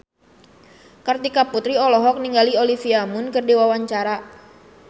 Kartika Putri olohok ningali Olivia Munn keur diwawancara